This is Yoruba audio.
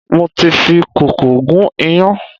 Mo ti fi kókò gún iyán